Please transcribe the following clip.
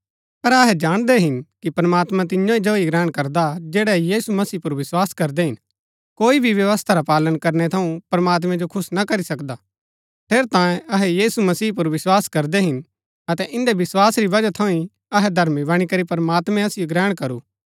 पर अहै जाणदै हिन कि प्रमात्मां तिन्या जो ही ग्रहण करदा हा जैड़ै यीशु मसीह पुर विस्वास करदै हिन कोई भी व्यवस्था रा पालन करनै थऊँ प्रमात्मैं जो खुश ना करी सकदा ठेरैतांये अहै यीशु मसीह पुर विस्वास करदै हिन अतै इन्दै विस्वास री वजह थऊँ ही अहै धर्मी बणी करी प्रमात्मैं असिओ ग्रहण करू